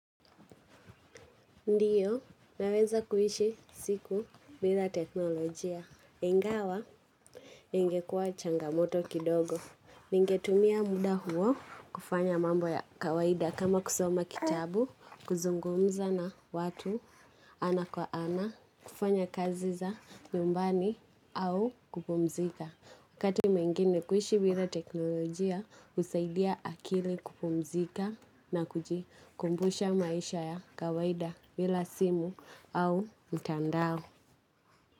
Ndiyo, naweza kuishi siku bila teknolojia. Ingawa, ingekua changamoto kidogo. Ningetumia muda huo kufanya mambo ya kawaida kama kusoma kitabu, kuzungumza na watu ana kwa ana, kufanya kazi za nyumbani au kupumzika. Wakati mwingine kuishi bila teknolojia husaidia akili kupumzika na kujikumbusha maisha ya kawaida bila simu au mtandao.